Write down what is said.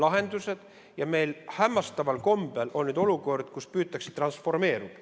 Meil on hämmastaval kombel olukord, kus püütakse transformeeruda.